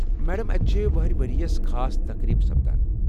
Madam, اتہِ چھےٚ وٕہٕرِ ؤرِیس خاص تقریٖبہٕ سپدان ۔